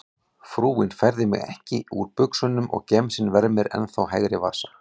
Frúin færði mig ekki úr buxunum og gemsinn vermir ennþá hægri vasa.